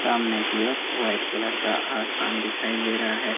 सामने की ओर व्हाइट कलर का आसान दिखाई दे रहा है।